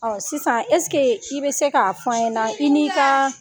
Ɔ sisan eseke i bɛ se k'a fɔ n ɲɛna na i n'i ka